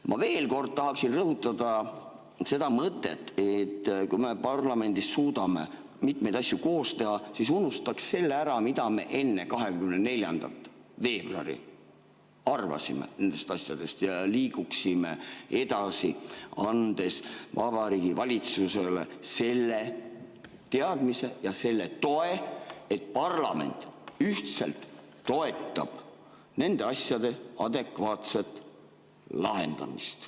Ma veel kord tahaksin rõhutada seda mõtet, et kui me parlamendis suudame mitmeid asju koos teha, siis unustaks selle ära, mida me enne 24. veebruari arvasime nendest asjadest, ja liiguksime edasi, andes Vabariigi Valitsusele selle teadmise ja selle toe, et parlament ühtselt toetab nende asjade adekvaatset lahendamist.